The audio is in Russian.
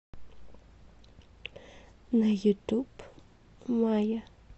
на ютуб майя